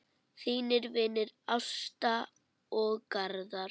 Þínir vinir, Ásta og Garðar.